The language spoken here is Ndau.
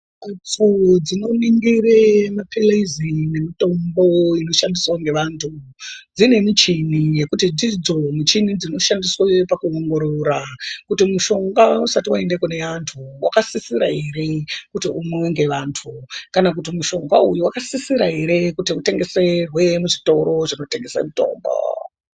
Kutseini dzinoningire mapilizi nemitombo inoshandise ngevantu dzine michini yekuti dzidzo michini dzinoshandiswe pakuongorora Kuti mushonga usati waaende kune antu wakasisira ere kuti umwiwe ngeantu kana kuti mushonga uyu wakasisira ere kuti Utengeserwe muzvitoeo zvinotengese mutombo.